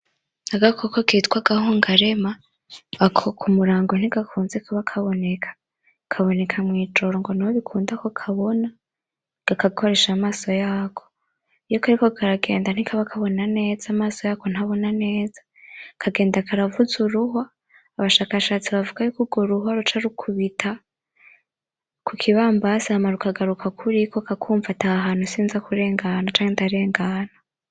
Agakoko kitwa Agahungarema, ako k'umurango ntigakunze kuba kaboneka, kaboneka mw'ijoro ngo niho bikunda ko kabona, kagakoresha amaso yako, iyo kariko karagenda ntikaba kabona neza amaso yako ntabona neza, kagenda karavuza uruhwa, abashakashatsi bavuga yuko urwo ruhwa ruca rukubita kukibambasi hama kikagaruka kuriko hama kakumva ati ahahantu sinzakurengana canke ndaza kurengana.